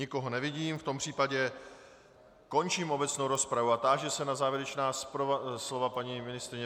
Nikoho nevidím, v tom případě končím obecnou rozpravu a táži se na závěrečná slova paní ministryně.